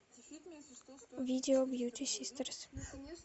видео бьюти систерс